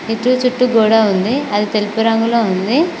చుట్టూ గోడా ఉంది అది తెలుపు రంగులో ఉంది.